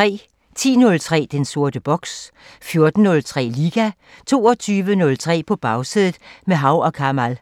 10:03: Den sorte boks 14:03: Liga 22:03: På Bagsædet – med Hav & Kamal